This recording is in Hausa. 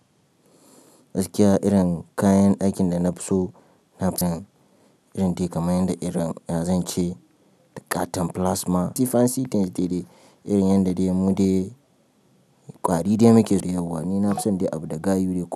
Gaskiya irin kayan ɗakin da na fi so nafi son irin dai kaman yanda ya zance da ƙaton plasma ti fancy things dai dai irin yanda dai mu dai ƙwari dai muke so yauwa. Ni nafi son dai abu da gayu da.